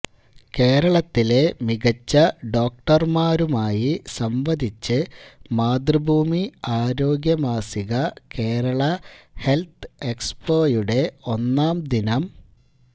കേരളത്തിലെ മികച്ച ഡോക്ടര്മാരുമായി സംവദിച്ച് മാതൃഭൂമി ആരോഗ്യമാസിക കേരള ഹെല്ത്ത് എക്സ്പോയുടെ ഒന്നാം ദിനം